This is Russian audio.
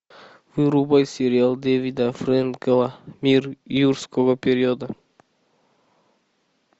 врубай сериал дэвида френкела мир юрского периода